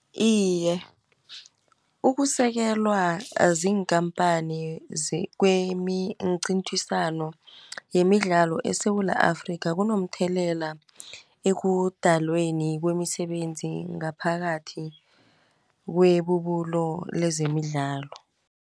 Iye ukusekelwa ziinkampani kwemincithisano yemidlalo eSewula Afrika kunomthelela ekudalweni kwemisebenzi ngaphakathi kwebubulo lezemidlalo.